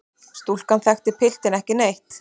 Stúlkan þekkti piltinn ekki neitt.